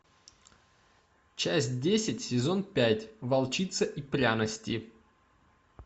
часть десять сезон пять волчица и пряности